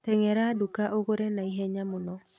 Tengera nduka ũgũre naihenya mũno